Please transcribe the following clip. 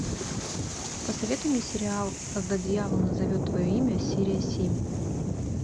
посоветуй мне сериал когда дьявол назовет твое имя серия семь